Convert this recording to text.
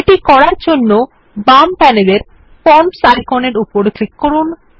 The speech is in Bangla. এটি করার জন্য বাম প্যানেলের ফরমস আইকনের উপর উপর ক্লিক করুন